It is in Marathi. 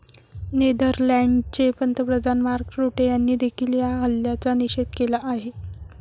नेदरलँडचे पंतप्रधान मार्क रुटे यांनीदेखील या हल्ल्याचा निषेध केला आहे.